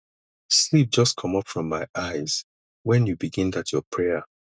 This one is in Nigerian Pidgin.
sleep just comot from my eyes wen you begin dat your prayer